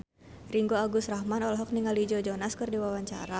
Ringgo Agus Rahman olohok ningali Joe Jonas keur diwawancara